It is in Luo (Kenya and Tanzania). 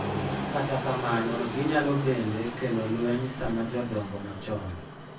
Kata kamano, ginyalo bende kelo lweny sama jodongo machon,